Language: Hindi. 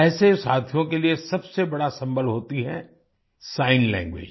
ऐसे साथियों के लिए सबसे बड़ा सम्बल होती है सिग्न लैंग्वेज